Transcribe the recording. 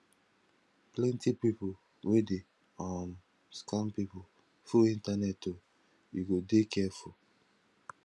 plenty pipu wey dey um scam pipu full internet o you go dey careful